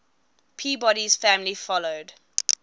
peabody's family followed